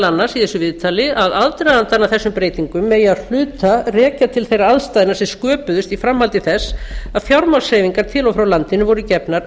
annars að aðdragandann að þessum breytingum megi að hluta rekja til þeirra aðstæðna sem sköpuðust í framhaldi þess að fjármagnshreyfingar til og frá landinu voru gefnar